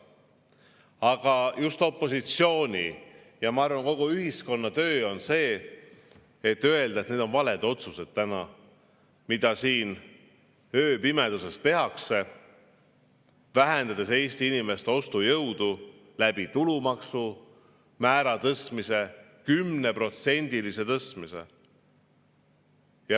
Aga just opositsiooni ja, ma arvan, kogu ühiskonna töö on öelda, et need on valed otsused, mis täna siin ööpimeduses tehakse, vähendades Eesti inimeste ostujõudu tulumaksumäära 10%-lise tõstmisega.